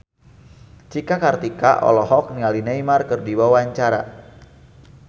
Cika Kartika olohok ningali Neymar keur diwawancara